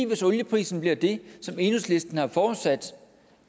hvis olieprisen bliver det som enhedslisten har forudsat